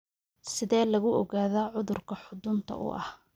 Sidee lagu ogaadaa cudurka xudunta u ah?